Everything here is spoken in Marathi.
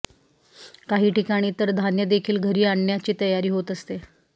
काही ठिकाणी तर धान्यदेखील घरी आणण्याची तयारी होत असते